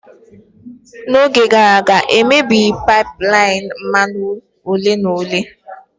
N'oge gara aga, e mebighi pipeline mmanụ ole na ole.